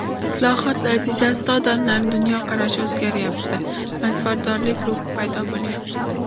Islohot natijasida odamlarning dunyoqarashi o‘zgaryapti, manfaatdorlik ruhi paydo bo‘lyapti.